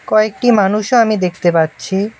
কয়েকটি মানুষও আমি দেখতে পাচ্ছি।